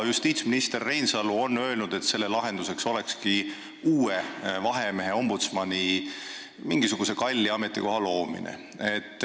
Justiitsminister Reinsalu on öelnud, et lahenduseks oleks uue vahemehe või ombudsmani, st mingisuguse kalli ametikoha loomine.